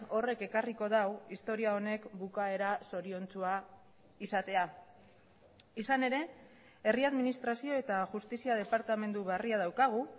horrek ekarriko du historia honek bukaera zoriontsua izatea izan ere herri administrazio eta justizia departamendu berria daukagu